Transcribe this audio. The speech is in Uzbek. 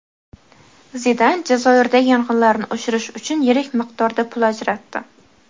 Zidan Jazoirdagi yong‘inlarni o‘chirish uchun yirik miqdorda pul ajratdi.